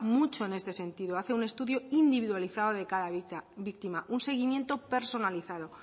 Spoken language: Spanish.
mucho en este sentido hace un estudio individualizado de cada víctima un seguimiento personalizado